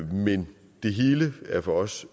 men det hele er for os